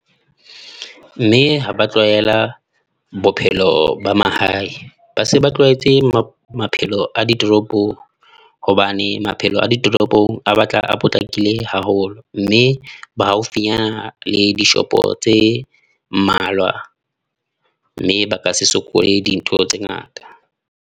Mme ha ba tlwaela bophelo ba mahae. Ba se ba tlwaetse maphelo a ditoropong, hobane maphelo a ditoropong a batla a potlakile haholo mme ba haufinyana le dishopo tse mmalwa, mme ba ka se sokole dintho tse ngata.